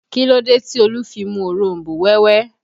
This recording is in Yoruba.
Kí ló dé tí Olu fi mu òronbó wẹ́wẹ́